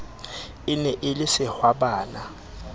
e ne e le sehwabana